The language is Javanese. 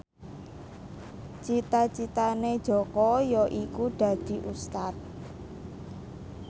cita citane Jaka yaiku dadi Ustad